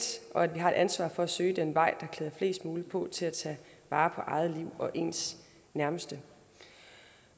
og at vi har et ansvar for at søge den vej der klæder flest muligt på til at tage vare på eget liv og ens nærmeste